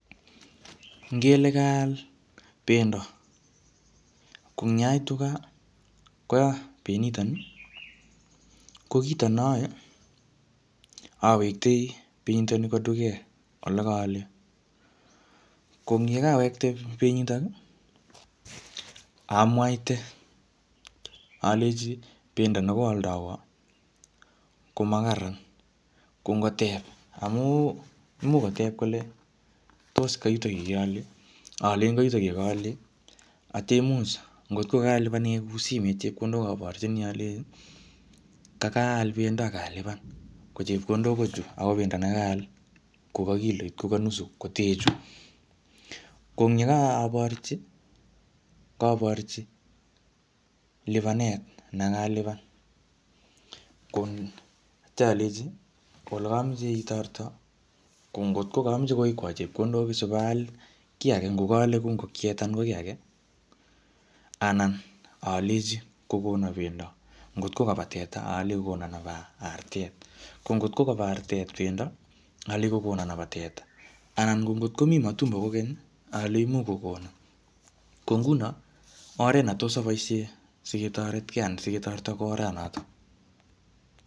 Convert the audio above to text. Ngele kaal pendo. Ko eng yaitu gaa, koya penyitoni. Ko kito ne ayae, awektoi penyitoni kwo duket ole kaale. Ko eng yekawekte penyitoni, amwaite aleji pendo nekoaldoiwo, ko makararan. Ko ngotep amuu imuch komuch kotep kole tos kayutoyu ole keale? Alen kayutoyu ye kaale. Atya imuch ngotko kalipan en kuu simet, aborchini alenji kakaal pendo akalipan. Ko chepkondok ko chuu. Ako pendo nekaal koka kiloit, ko ka nusu kotee chuu. Ko eng yekaborchi, kaborchi lipanet nekalipan. Ko atya aleji ko ole kameche itoreto, ko ngotko kameche kowekwo chepkondok sipaal kiy age, ngokaale kuu ngokiet anan ko kiy age, anan alenji kokona pendo. Ngotko kaba teta, aleji kokona nebo artet. Ko ngotko kobo artet pendo, alenji kokona nebo teta. Anan ko ngotkomiii matumbo kokeny, alejini imuch kokona. Ko nguno, oret netos aboisie siketoretkei anan siketoreto ko oranotok